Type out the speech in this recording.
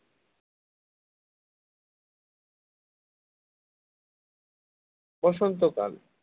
বসন্তকাল